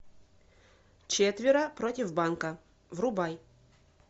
четверо против банка врубай